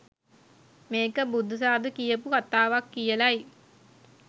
මේක බුදු සාදු කියපු කතාවක් කියලයි